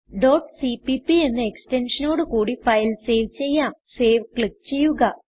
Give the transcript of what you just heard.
cpp എന്ന extensionനോട് കൂടി ഫയൽ സേവ് ചെയ്യാം സേവ് ക്ലിക്ക് ചെയ്യുക